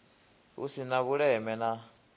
hu si na vhuleme na